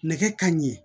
Nɛgɛ kanɲɛ